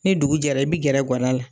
Ni dugu jɛra, i bi gɛrɛ ga da la.